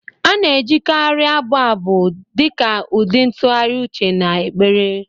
A na-ejikarị abụ abụ dị ka ụdị ntụgharị uche na ekpere